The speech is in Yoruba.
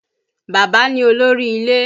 Bàbá ni olórí ilé